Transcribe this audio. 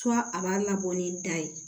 a b'a labɔ ni da ye